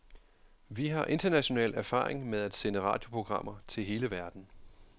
Vi har international erfaring med at sende radioprogrammer til hele verden.